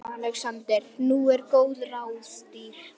ALEXANDER: Nú eru góð ráð dýr.